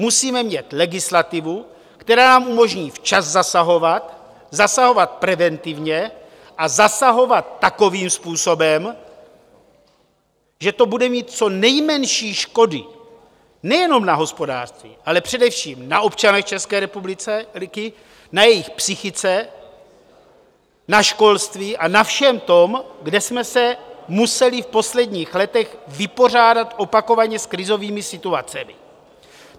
Musíme mít legislativu, která nám umožní včas zasahovat, zasahovat preventivně a zasahovat takovým způsobem, že to bude mít co nejmenší škody nejenom na hospodářství, ale především na občanech České republiky, na jejich psychice, na školství a na všem tom, kde jsme se museli v posledních letech vypořádat opakovaně s krizovými situacemi.